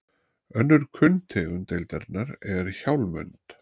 önnur kunn tegund deildarinnar er hjálmönd